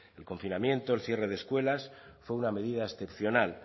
confinamiento el cierre de escuelas fue una medida excepcional